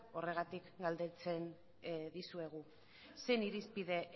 horregatik galdetzen dizuegu zein irizpide